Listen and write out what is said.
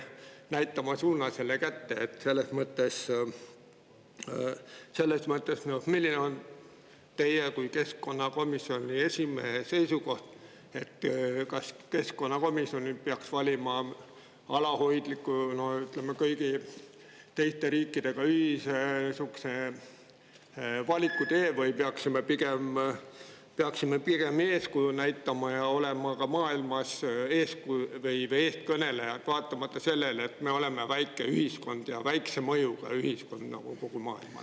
Milline on teie kui keskkonnakomisjoni esimehe seisukoht – kas keskkonnakomisjon peaks valima sihukese alalhoidliku, koos kõigi teiste riikidega ühise valikutee või me peaksime pigem eeskuju näitama ja olema ka kogu maailma eestkõnelejaks, vaatamata sellele, et me oleme nende jaoks väike ja väikese mõjuga ühiskond?